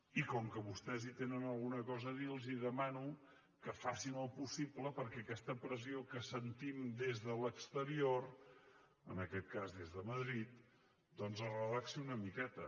i com que vostès hi tenen alguna cosa a dir els demano que facin el possible perquè aquesta pressió que sentim des de l’exterior en aquest cas de madrid doncs es relaxi una miqueta